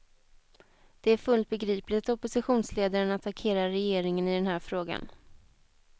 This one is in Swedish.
Det är fullt begripligt att oppositionsledaren attackerar regeringen i den här frågan.